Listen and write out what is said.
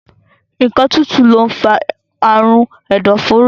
Nǹkan tútù lọ ń fa àrùn ẹ̀dọ̀fóró